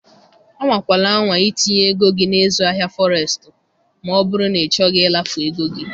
Anwakwala anwa itinye ego gị na ịzụ ahịa Forestu ma ọ bụrụ na ịchọghị ịlafu ego gị.